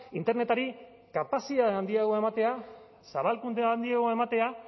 internetari kapazitate handiagoa ematea zabalkunde handiagoa ematea